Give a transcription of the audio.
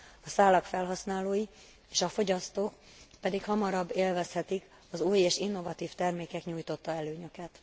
A szálak felhasználói és a fogyasztók pedig hamarabb élvezhetik az új és innovatív termékek nyújtotta előnyöket.